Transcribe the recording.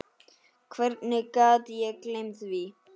Hvernig gat ég gleymt því?